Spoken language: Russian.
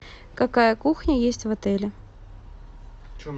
какая кухня есть в отеле